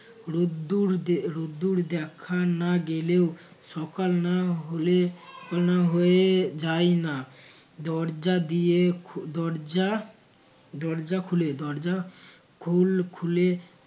রোদ্দুর দে রোদ্দুর দেখা না গেলেও সকাল না হলে কানা হয়ে যায় না। দরজা দিয়ে দরজা দরজা খুলে দরজা খূল খুলে